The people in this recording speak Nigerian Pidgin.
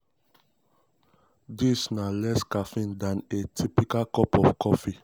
dis na less caffeine dan a typical cup of coffee.